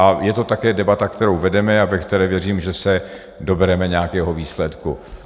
A je to také debata, kterou vedeme, a ve které věřím, že se dobereme nějakého výsledku.